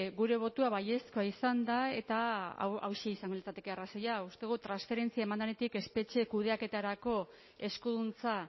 gure botoa baiezkoa izan da eta hauxe izango litzateke arrazoia uste dugu transferentzia eman denetik espetxe kudeaketarako eskuduntza